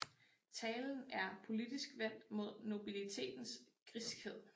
Talen er politisk vendt mod nobilitetens griskhed